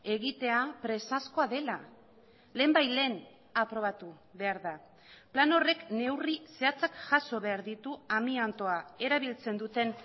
egitea presazkoa dela lehenbailehen aprobatu behar da plan horrek neurri zehatzak jaso behar ditu amiantoa erabiltzen duten